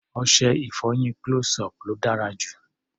Ọṣẹ-ìfọyín close-up ló dára jù.